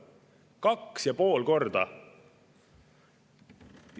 2,5 korda!